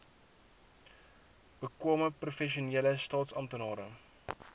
bekwame professionele staatsamptenare